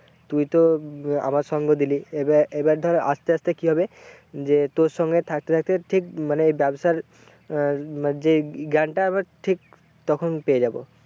তুই তো আমার সঙ্গ দিলি এবার ধর আসতে আসতে কি হবে যে তোর সঙ্গে থাকতে থাকতে ঠিক মানে ব্যবসার আহ যে জ্ঞানটা আমার ঠিক তখন পেয়ে যাবো।